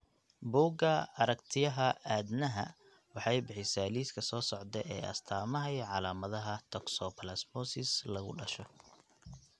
Buugga Aragtiyaha Aadanahawaxay bixisaa liiska soo socda ee astamaha iyo calaamadaha toxoplasmosis lagu dhasho.